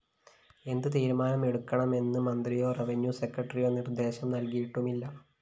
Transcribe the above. എന്ത് തീരുമാനം എടുക്കണമെന്ന് മന്ത്രിയോ റവന്യൂസെക്രട്ടറിയോ നിര്‍ദ്ദേശം നല്‍കിയിട്ടുമില്ല